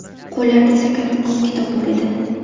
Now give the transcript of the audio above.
Qo‘llarida esa kattakon kitob bor edi.